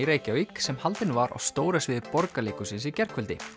Reykjavík sem haldin var á stóra sviði Borgarleikhússins í gærkvöldi